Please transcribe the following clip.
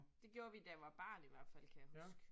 Det gjorde vi, da jeg var barn i hvert fald kan jeg huske